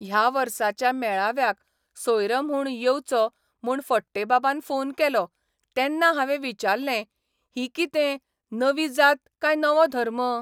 ह्या वर्साच्या मेळाव्याक सोयरो म्हूण येवचो म्हूण फडटेबाबान फोन केलो तेन्ना हांवें विचारलें 'ही कितें, नवी जात काय नवो धर्म?